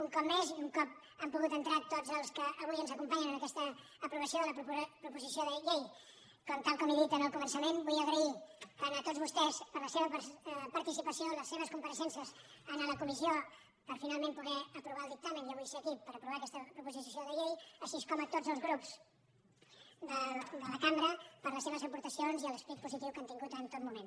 un cop més i un cop han pogut entrar tots els que avui ens acompanyen en aquesta aprovació de la proposició de llei tal com he dit al començament vull agrair tant a tots vostès la seva participació les seves compareixences en la comissió per finalment poder aprovar el dictamen i avui ser aquí per aprovar aquesta proposició de llei així com a tots els grups de la cambra les seves aportacions i l’esperit positiu que han tingut en tot moment